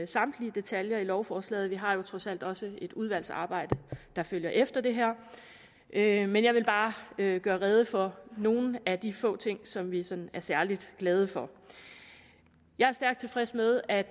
samtlige detaljer i lovforslaget vi har jo trods alt også et udvalgsarbejde der følger efter det her men jeg vil bare gøre gøre rede for nogle af de få ting som vi er sådan særlig glade for jeg er stærkt tilfreds med at